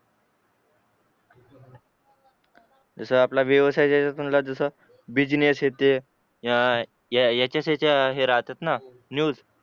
जसा आपला व्यवसाय ज्याच्यातून जसा बिजनेस हे ते या अह याच्या त्याच्या हे राहतात ना न्यूज